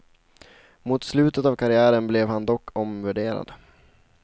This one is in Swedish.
Mot slutet av karriären blev han dock omvärderad.